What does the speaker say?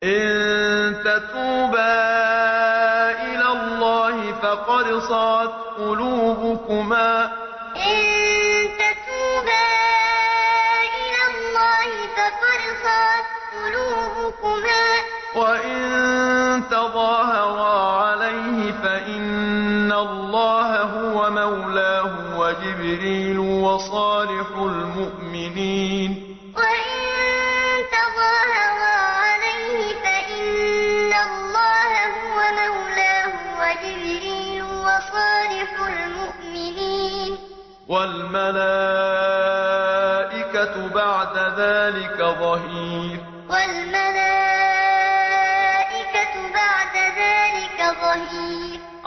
إِن تَتُوبَا إِلَى اللَّهِ فَقَدْ صَغَتْ قُلُوبُكُمَا ۖ وَإِن تَظَاهَرَا عَلَيْهِ فَإِنَّ اللَّهَ هُوَ مَوْلَاهُ وَجِبْرِيلُ وَصَالِحُ الْمُؤْمِنِينَ ۖ وَالْمَلَائِكَةُ بَعْدَ ذَٰلِكَ ظَهِيرٌ إِن تَتُوبَا إِلَى اللَّهِ فَقَدْ صَغَتْ قُلُوبُكُمَا ۖ وَإِن تَظَاهَرَا عَلَيْهِ فَإِنَّ اللَّهَ هُوَ مَوْلَاهُ وَجِبْرِيلُ وَصَالِحُ الْمُؤْمِنِينَ ۖ وَالْمَلَائِكَةُ بَعْدَ ذَٰلِكَ ظَهِيرٌ